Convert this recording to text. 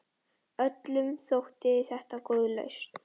Öllum þótti þetta góð lausn.